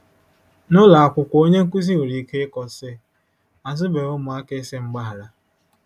N'ụlọ akwụkwọ onye nkụzi nwere ike ịkọ, sị, ' Azụbeghị ụmụaka ịsị mgbaghara. '